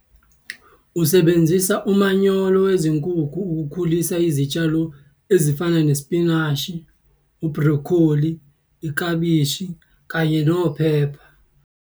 Usebenzisa umanyolo wezinkukhu ukukhulisa izitshalo ezifana nesipinashi, ubhrokholi, iklabishi kanye nophepha.